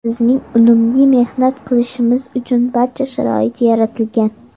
Bizning unumli mehnat qilishimiz uchun barcha sharoit yaratilgan.